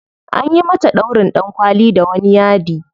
Anyi mata ɗaurin ɗankwali da wani yadi.